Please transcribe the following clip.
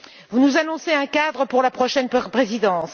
Vous nous annoncez un cadre pour la prochaine présidence.